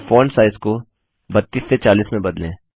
और font size को 32 से 40 में बदलें